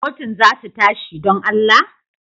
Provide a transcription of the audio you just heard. Kotun za su tashi, don Allah?